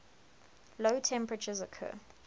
low temperatures occur